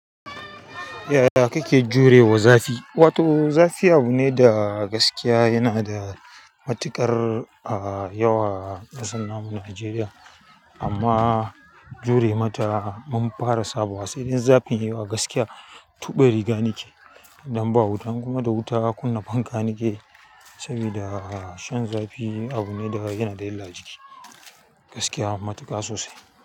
Yaya kike jurewa zafi to zafi abu ne da gaskiya yana da matuƙar ah yawa a ƙasar nan mu Najeriya. Amma jure mata mun fara saba wa, sai dai zafin yawa gaskiya tuɓe riga nake idan ba wuta kuma da wuta kunna fanka nake sabida shan zafi abu ne da yana da illar jiki gaskiya matuƙa sosai.